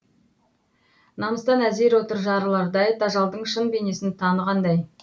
намыстан әзер отыр жарылардай тажалдың шын бейнесін танығандай